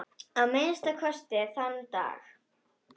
Að minnsta kosti þann dag.